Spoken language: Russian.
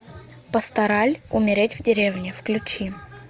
пастораль умереть в деревне включи